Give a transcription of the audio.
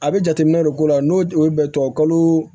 A bɛ jateminɛ de ko la n'o o ye bɛ tubabukalo